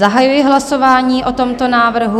Zahajuji hlasování o tomto návrhu.